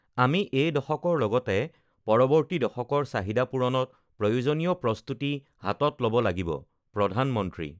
আমি এই দশকৰ লগতে পৰৱৰ্তী দশকৰ চাহিদা পূৰণত প্ৰয়োজনীয় প্ৰস্তুতি হাতত ল'ব লাগিবঃ প্ৰধানমন্ত্ৰী